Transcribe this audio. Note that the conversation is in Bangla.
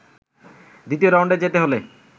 দ্বিতীয় রাউন্ডে যেতে হলে